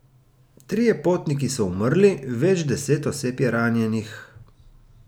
Trije potniki so umrli, več deset oseb je ranjenih.